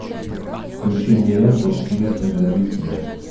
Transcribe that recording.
включи мне ленту мир принадлежит тебе